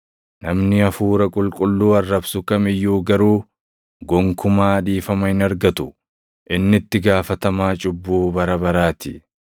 namni Hafuura Qulqulluu arrabsu kam iyyuu garuu gonkumaa dhiifama hin argatu; inni itti gaafatamaa cubbuu bara baraa ti.”